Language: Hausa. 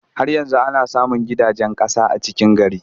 Har yanzu ana samun gidajen ƙasa a cikin gari.